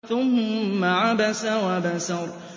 ثُمَّ عَبَسَ وَبَسَرَ